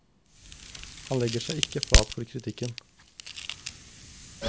Han legger seg ikke flat for kritikken.